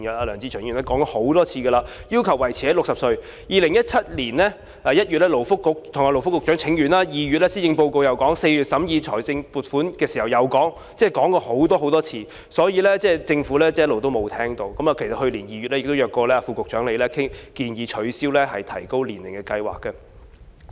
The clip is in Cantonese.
梁志祥議員已多次要求維持在60歲，然後在2017年1月向勞工及福利局請願 ，2 月討論施政報告和4月審議撥款條例草案時又再提出，我們已經說過很多次，只是政府從來沒有聽取，而去年2月亦曾約見副局長，建議取消提高年齡的計劃。